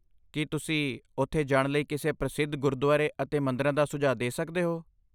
ਕੀ ਤੁਸੀਂ ਉੱਥੇ ਜਾਣ ਲਈ ਕਿਸੇ ਪ੍ਰਸਿੱਧ ਗੁਰਦੁਆਰੇ ਅਤੇ ਮੰਦਰਾਂ ਦਾ ਸੁਝਾਅ ਦੇ ਸਕਦੇ ਹੋ?